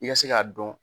I ka se k'a dɔn